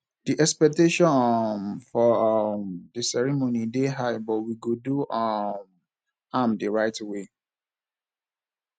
di expectations um for um di ceremony dey high but we go do um am the right way